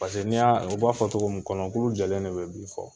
Paseke n' i y'a o b'a fɔ togo min kɔnɔkulu jɛlen de bɛ fɔ